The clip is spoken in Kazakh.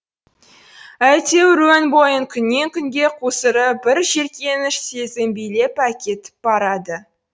әйтеуір өн бойын күннен күнге қусырып бір жеркеніш сезім билеп әкетіп барады